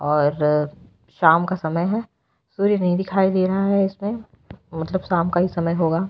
और-र शाम का समय है सूर्य नहीं दिखाई रहा है इसमे मतलब शाम का ही समय होगा।